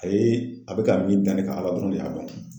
a bɛ ka min da ne kan Ala dɔrɔn de y'a dɔn.